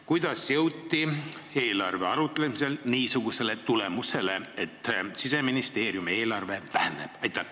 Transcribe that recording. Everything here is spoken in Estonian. Kuidas jõuti eelarve üle otsustades niisugusele tulemusele, et Siseministeeriumi eelarve väheneb?